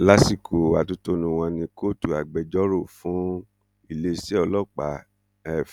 lásìkò atótónu wọn ni kóòtù agbẹjọrò fún iléeṣẹ ọlọpàá f